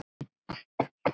Hann stökk fram í stofu.